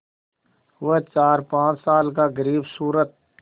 वह चारपाँच साल का ग़रीबसूरत